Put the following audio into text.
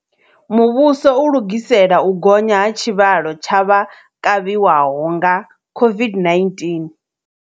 Muvhuso u lugisela u gonya ha tshivhalo tsha vha kavhiwahonga COVID-19